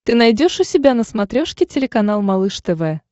ты найдешь у себя на смотрешке телеканал малыш тв